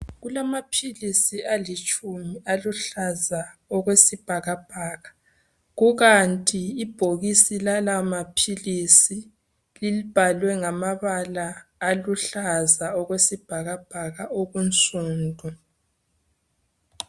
Kulamaphilisi alitshumi aluhlaza okwesibhakabhaka kukanti ibhokisi lamaphilisi libhaliwe ngamabala aluhlaza okwesibhakabhaka okunsundu